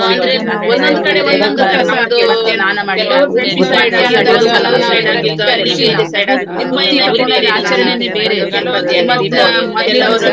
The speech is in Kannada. ತುಂಬಾ ನನ್ friends ನವರನ್ನೆಲ್ಲಾ ನೆನಪಾಗ್ತದೆ ಆದ್ರೆ friends ನವ್ರ್ ಕೆಲವ್ friends ನವ್ರ್ ನನ್ನಾ ಈಗ ನನ್ನಾ ಇದ್ರಲ್ಲಿ ಇದ್ದಾರೆ ನನ್ನಾ ಆ contact ಅಲ್ಲಿ ನನ್ನಾ ಆದ್ರೆ ಕೆಲವೊಂದ್ ಕೆಲವೊಬ್ರದ್ದು ನೆನಪಾಗ್ತದೆ.